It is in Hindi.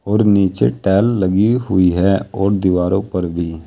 और नीचे टाइल लगी हुई है और दीवारों पर भी।